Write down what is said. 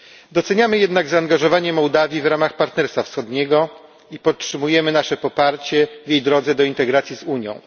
Doceniamy jednak zaangażowanie Mołdawii w ramach Partnerstwa Wschodniego i podtrzymujemy nasze poparcie w jej drodze do integracji z Unią.